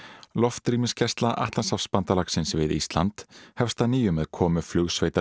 loftrýmisgæsla Atlantshafsbandalagsins við Ísland hefst að nýju með komu